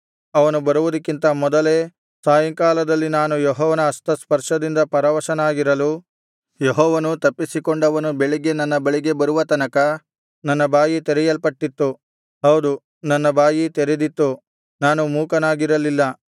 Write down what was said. ಅವನು ಬರುವುದಕ್ಕಿಂತ ಮೊದಲೇ ಸಾಯಂಕಾಲದಲ್ಲಿ ನಾನು ಯೆಹೋವನ ಹಸ್ತಸ್ಪರ್ಶದಿಂದ ಪರವಶನಾಗಿರಲು ಯೆಹೋವನು ತಪ್ಪಿಸಿಕೊಂಡವನು ಬೆಳಿಗ್ಗೆ ನನ್ನ ಬಳಿಗೆ ಬರುವ ತನಕ ನನ್ನ ಬಾಯಿ ತೆರೆಯಲ್ಪಟ್ಟಿತ್ತು ಹೌದು ನನ್ನ ಬಾಯಿ ತೆರೆದಿತ್ತು ನಾನು ಮೂಕನಾಗಿರಲಿಲ್ಲ